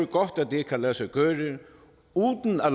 godt at det kan lade sig gøre uden at